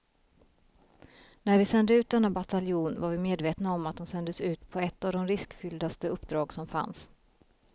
När vi sände ut denna bataljon var vi medvetna om att de sändes ut på ett av de riskfylldaste uppdrag som fanns.